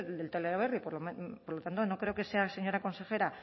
del teleberri por lo tanto no creo que sea señora consejera